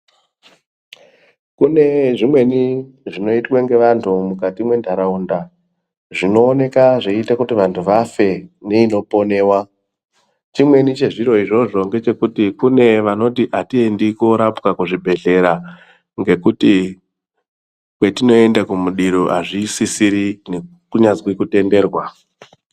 Kune zvimweni zvinoitwa ngevanhu mukati mwe munharaunda, zvinooneka zveite kuti vanhu vafe neinoponiwa chimweni chezviro izvozvo ngechekuti kune vanoti atiendi korapwaa kuzviibhehlera ngekuti kwatinoenda kumudiro hazvisisiri kunyazwi kutenderwa.